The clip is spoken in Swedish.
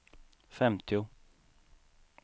femtio